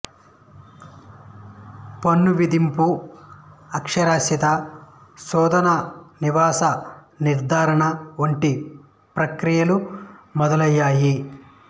పన్ను విధింపు అక్షరాస్యతా శోధనా నివాస నిర్ధారణ వంటి ప్రక్రియలు మొదలైయ్యాయి